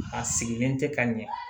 A sigilen tɛ ka ɲɛ